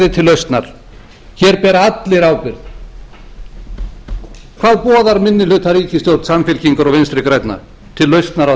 lausnar hér bera allir ábyrgð hvað boðar minnihlutaríkisstjórn samfylkingar og vinstri grænna til lausnar á